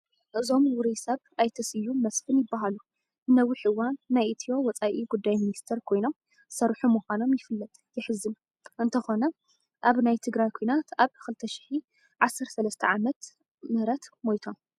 እዞም ውሩይ ሰብ ኣይተ ስዩም መስፍን ይበሃሉ፡፡ ንነዊሕ እዋን ናይ ኢትዮ ወፃኢ ጉይ ሚኒስትር ኮይኖም ዝሰርሑ ምዃኖም ይፍለጥ፡፡ የሕዝን፡፡ እንተኾነ ኣብ ናይ ትግራዪ ኲናት ኣብ 2013 ዓም ሞይቶም፡፡